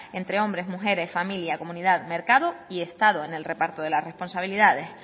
entre hombres mujeres familia comunidad mercado y estado en el reparto de la responsabilidades